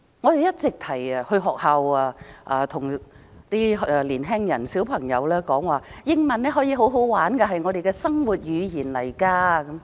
我們經常到學校向青年人、小孩子說，英文可以十分有趣，是我們的生活語言。